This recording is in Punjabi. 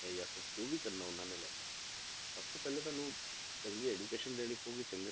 ਜਾਂ ਫਿਰ ਜੋ ਵੀ ਕਰਨਾ ਉਹਨਾਂ ਨੇ life 'ਚ ਸਭ ਤੋਂ ਪਹਿਲੇ ਤੁਹਾਨੂੰ ਚੰਗੀ education ਦੇਣੀ ਪਊਗੀ ਚੰਗੇ